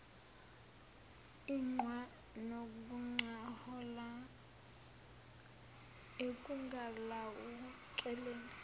iqhwa nokungaholela ekungalawulekeni